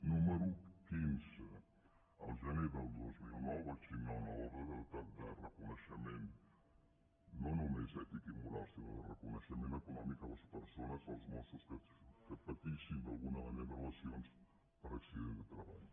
número dinou el gener del dos mil nou vaig signar una ordre de reconeixement no no·més d’ètica i moral sinó de reconeixement econòmic a les persones als mossos que patissin d’alguna manera lesions per accident de treball